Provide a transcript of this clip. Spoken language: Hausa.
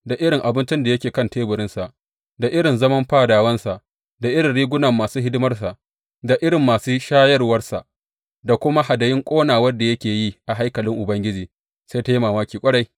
Da irin abincin da yake kan teburinsa, da irin zaman fadawansa, da irin rigunan masu hidimarsa, da irin masu shayarwarsa, da kuma hadayun ƙonawar da yake yi a haikalin Ubangiji, sai ta yi mamaki ƙwarai.